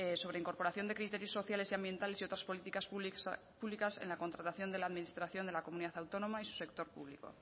sobre incorporación de criterios sociales y ambientales y otras políticas públicas en la contratación de la administración de la comunidad autónoma y su sector público